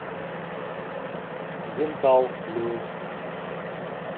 дентал люкс